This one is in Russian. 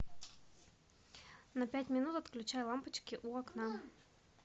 на пять минут отключай лампочки у окна